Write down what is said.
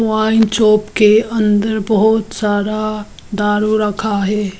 Wine shop के अंदर बहुत सारा दारू रखा है।